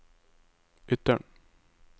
Ytteren